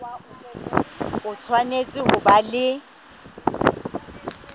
o tshwanetse ho ba le